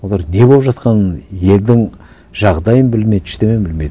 олар не болып жатқанын елдің жағдайын білмейді ештеңе білмейді